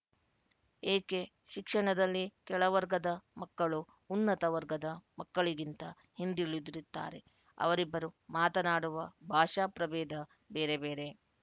ಏಕೆ ಶಿಕ್ಷಣದಲ್ಲಿ ಕೆಳವರ್ಗದ ಮಕ್ಕಳು ಉನ್ನತ ವರ್ಗದ ಮಕ್ಕಳಿಗಿಂತ ಹಿಂದುಳಿದಿರುತ್ತಾರೆ ಅವರಿಬ್ಬರು ಮಾತನಾಡುವ ಭಾಷಾ ಪ್ರಭೇದ ಬೇರೆ ಬೇರೆ